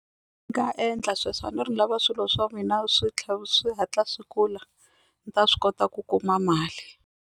Ni nga endla sweswo a ni ri ni lava swilo swa mina swi tlhe swi hatla swi kula ni ta swi kota ku kuma mali.